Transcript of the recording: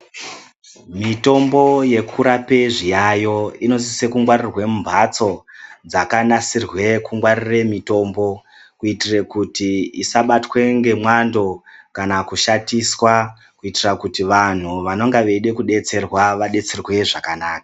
Mitombo yekurapa zviyayo inosise kungwarirwe mumbatso dzakanasirwe kungwarirwe mitombo kuitire kuti isabatwa nemwando kana kushatiswa kuitire kuti vantu vanonga veida kudetserawa vawane kudetserwa zvakanaka.